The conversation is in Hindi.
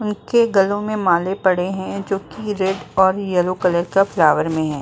उनके गलों मे माले पड़े है जोकि रेड ओर येलो कलर का फ्लावर मे है।